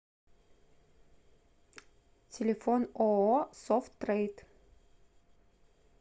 телефон ооо софт трейд